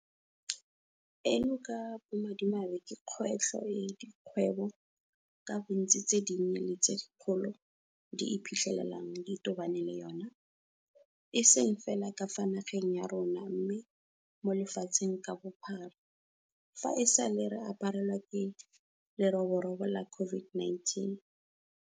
Eno ka bomadimabe ke kgwetlho e dikgwebo ka bontsi tse dinnye le tse dikgolo di iphitlhelang di tobane le yona, e seng fela ka fa nageng ya rona mme le mo lefatsheng ka bophara, fa e sale re aparelwa ke leroborobo la COVID-19.